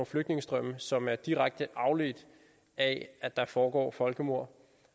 flygtningestrømme som er direkte afledt af at der foregår folkemord